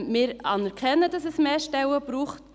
Wir anerkennen, dass es mehr Stellen braucht.